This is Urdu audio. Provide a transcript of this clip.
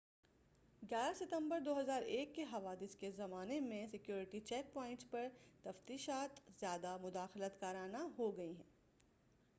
ستمبر 11 2001 کے حوادث کے بعد کے زمان میں سیکیورٹی چیک پوائبٹس پرتفتیشات زیادہ مداخلت کارانہ ہو گئی ہیں